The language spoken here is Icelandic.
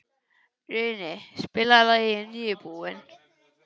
Runi, spilaðu lagið „Nýbúinn“.